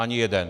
Ani jeden.